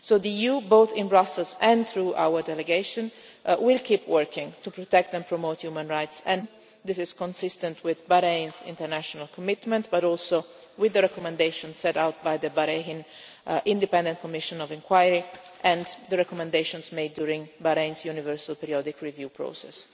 The EU, both in Brussels and through our delegation, will keep working to protect and promote human rights and fundamental freedoms. This is consistent with Bahrain's international commitment, but also with the recommendation set out by the Bahrain Independent Commission of Inquiry and the recommendations made during Bahrain's Universal Periodic Review process.